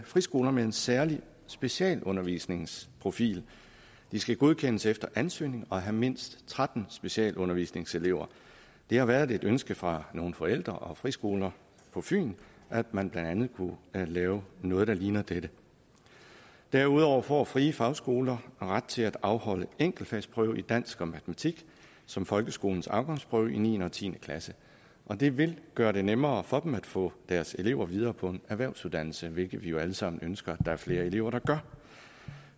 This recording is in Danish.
friskoler med en særlig specialundervisningsprofil de skal godkendes efter ansøgning og have mindst tretten specialundervisningselever det har været et ønske fra nogle forældre og friskoler på fyn at man blandt andet kunne lave noget der ligner dette derudover får frie fagskoler ret til at afholde enkeltfagsprøve i dansk og matematik som folkeskolens afgangsprøve i niende og tiende klasse og det vil gøre det nemmere for dem at få deres elever videre på en erhvervsuddannelse hvilket vi jo alle sammen ønsker at der er flere elever der gør